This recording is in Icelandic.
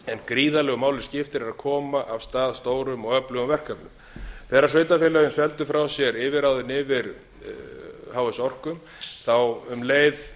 gríðarlegu máli skiptir að koma af stað stórum og öflugum verkefnum þegar sveitarfélögin seldu frá sér yfirráðin fyrir h s orku misstu þau um leið